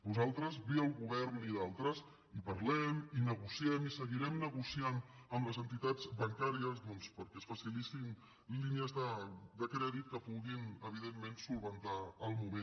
nosaltres via el govern i d’altres hi parlem hi negociem i seguirem negociant amb les entitats bancàries perquè es facilitin línies de crèdit que puguin evidentment solucionar el moment